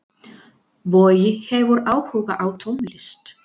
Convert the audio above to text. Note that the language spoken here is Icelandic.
Bogi hefur áhuga á tónlist.